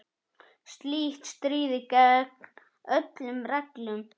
Slíkt stríðir gegn öllum reglum.